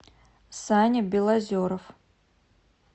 саня белозеров